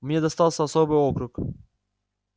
мне достался особый округ